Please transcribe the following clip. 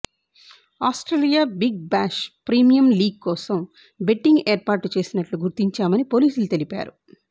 Australia Big Bash premium league కోసం betting ఏర్పాట్లు చేసినట్టు గుర్తించామని పోలీసులు తెలిపారు